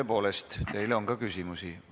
Tõepoolest, teile on ka küsimusi.